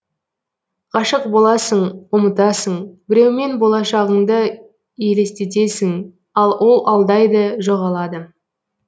ғашық боласың ұмытасың біреумен болашағыңды елестетесің ал ол алдайды жоғалады